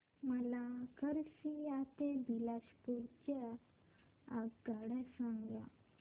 मला खरसिया ते बिलासपुर च्या आगगाड्या सांगा